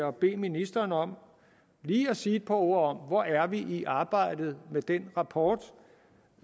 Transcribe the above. og bede ministeren om lige at sige et par ord om hvor er vi i arbejdet med den rapport